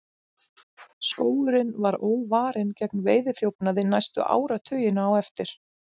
Skógurinn var óvarinn gegn veiðiþjófnaði næstu áratugina á eftir.